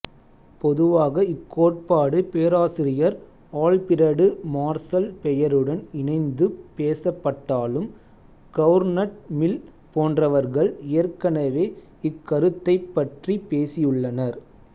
பொதுவாக இக்கோட்பாடு பேராசிரியர் ஆல்பிரடு மார்சல் பெயருடன் இணைந்துப் பேசப்பட்டாலும் கவுர்நட் மில் போன்றவர்கள் ஏற்கனவே இக்கருத்தைப் பற்றிப் பேசியுள்ளனர்